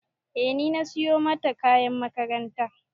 E ni na siyo mata kayan makaranta